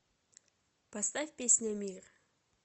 поставь песня мир